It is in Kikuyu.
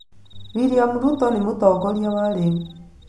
William Ruto nĩ mũtongoria wa rĩu.